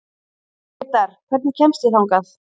Grétar, hvernig kemst ég þangað?